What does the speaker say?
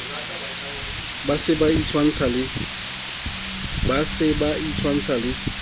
ba se ba itshwantsha le